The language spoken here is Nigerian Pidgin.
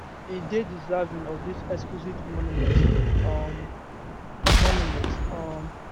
e dey deserving of dis exquisite monument um monument um